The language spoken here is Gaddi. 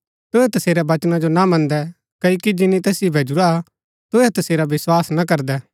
तुहै तसेरै बचना जो ना मन्दै क्ओकि जिनी तैसिओ भैजुरा हा तुहै तसेरा विस्वास ना करदै